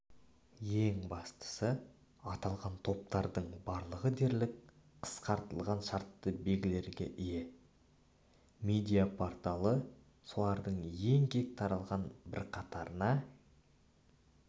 ең бастысы аталған топтардың барлығы дерлік қысқартылған шартты белгілерге ие медиа-порталы солардың ең кең таралған бірқатарына